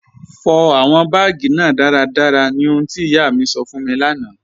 Fọ awọn baágì náà daradara ní ọ̀hùn ti iyà mi sọ́ fún mi lána.